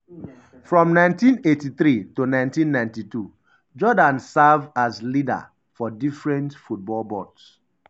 um from 1983 to1992 jordaan serve as leader um for different football boards.